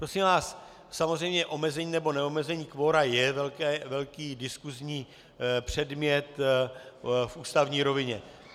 Prosím vás, samozřejmě omezení nebo neomezení kvora je velký diskusní předmět v ústavní rovině.